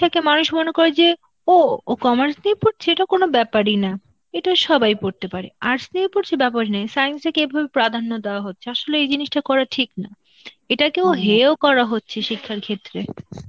তাকে মানুষ মনে করে যে ও, ও commerce নিয়ে পড়ছে, এটা কোন ব্যাপারই না, এটা সবাই পড়তে পারে, arts নিয়ে পড়ছে Science কে কেবল প্রাধান্য দেওয়া হচ্ছে, আসলে এই জিনিসটা করা ঠিক না, এটাকেও হেয় ও করা হচ্ছে শিক্ষার ক্ষেত্রে.